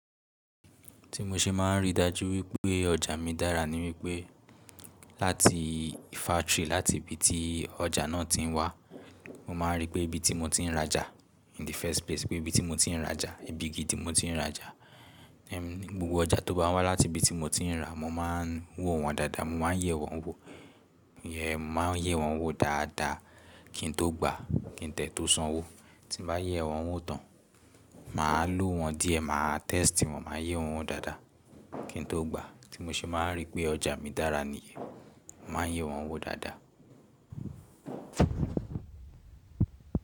Tí mo ṣe máa ń rí i dájú wípé ọjà mi dára ni wípé láti factory, láti ibi tí ọjà náà ti ń wá, mo máa rí pé ibi tí mo ti ń rajà in the first place, pé ibi tí mo ti ń rajà, ibi gidi mo ti ń rajà. Gbogbo ọjà tó bá wá láti ibi tí mo ti ń rà, mo máa ń wo wọn dáadáa, mo máa ń yẹ́ wọn wò. Eh, mo máa ń yẹ́ wọn wò dáadáa kí n tó gba, kí n dẹ̀ tó sanwó. Tí mo bá yẹ́ wọn wò tán, màá lo wọn díẹ̀, màá test wọn, màá yẹ́ wọn wò dáadáa kí n tó gba. Tí mo ṣe máa ń rí pé ọjà mi dára ni, mo máa ń yẹ́ wọn wò dáadáa.